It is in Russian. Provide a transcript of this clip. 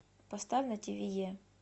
поставь на тиви е